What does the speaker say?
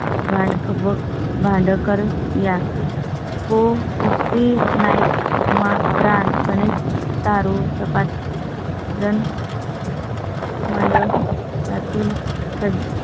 भांड व भांड कर या. ओ तृप्ती नाईक मा. प्राण करू शकत. जन. मंडळातील